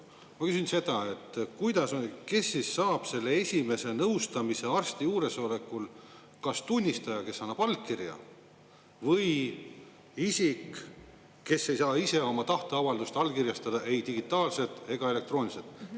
Ma küsin seda, et kuidas on, kes saab selle esimese nõustamise arsti juuresolekul, kas tunnistaja, kes annab allkirja, või isik, kes ei saa ise oma tahteavaldust allkirjastada ei digitaalselt ega elektrooniliselt.